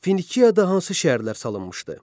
Finiyada hansı şəhərlər salınmışdı?